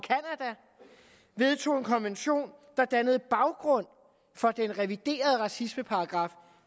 vedtage en konvention der dannede baggrund for den reviderede racismeparagraf